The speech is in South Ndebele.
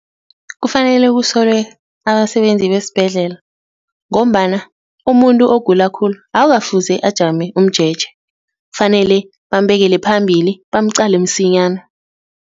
Kufanele kusolwe abasebenzi besibhedlela ngombana umuntu ogula khulu akukafuzi ajame umjeje, kufanele bambekele phambili bamqale msinyana.